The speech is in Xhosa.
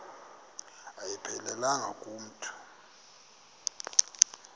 ayiphelelanga ku mntu